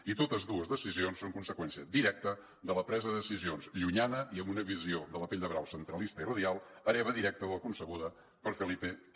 i totes dues decisions són conseqüència directa de la presa de decisions llunyana i amb una visió de la pell de brau centralista i radial hereva directa de la concebuda per felipe v